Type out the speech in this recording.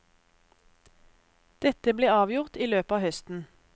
Dette blir avgjort i løpet av høsten.